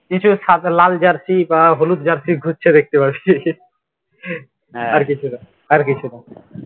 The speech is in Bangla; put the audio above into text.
কিছু লাল jersey বা হলুদ jersey এগুলো সব দেখতে পারবি আর কিছু না আর কিছু না